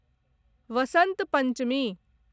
Vasant Panchami